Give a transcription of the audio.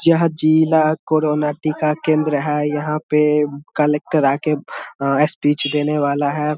जहां जिला कोरोना टीका केंद्र है यहां पे कलेक्टर आके अं स्पीच देने वाला है।